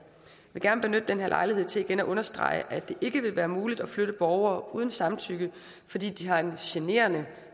vil gerne benytte den her lejlighed til igen at understrege at det ikke vil være muligt at flytte borgere uden samtykke fordi de har en generende